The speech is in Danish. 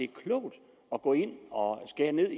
klogt at gå ind og skære ned